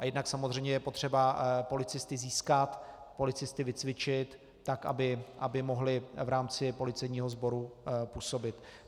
A jednak samozřejmě je potřeba policisty získat, policisty vycvičit tak, aby mohli v rámci policejního sboru působit.